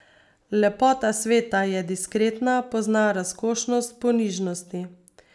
Lepota sveta je diskretna, pozna razkošnost ponižnosti.